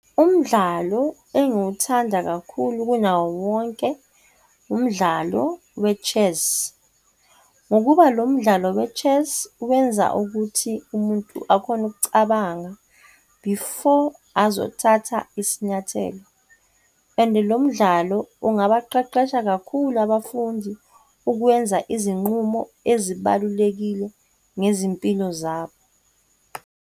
Umdlalo engiwuthanda kakhulu kunawo wonke, umdlalo we-chess ngokuba lo mdlalo we-chess wenza ukuthi umuntu akhone ukucabanga before azothatha isinyathelo. And lo mdlalo ungabaqeqesha kakhulu abafundi ukwenza izinqumo ezibalulekile ngezimpilo zabo.